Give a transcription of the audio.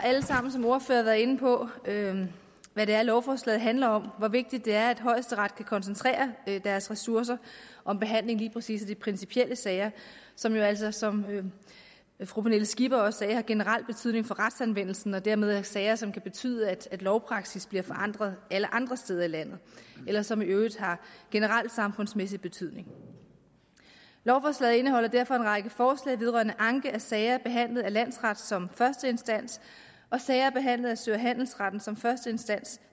været inde på hvad det er lovforslaget handler om hvor vigtigt det er at højesteret kan koncentrere deres ressourcer om behandling af lige præcis de principielle sager som jo altså som fru pernille skipper også sagde har generel betydning for retsanvendelsen og dermed er sager som kan betyde at lovpraksis bliver forandret alle andre steder i landet eller som i øvrigt har generel samfundsmæssig betydning lovforslaget indeholder derfor en række forslag vedrørende anke af sager behandlet af landsretten som første instans og sager behandlet af sø og handelsretten som første instans